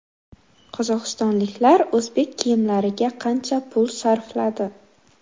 Qozog‘istonliklar o‘zbek kiyimlariga qancha pul sarfladi?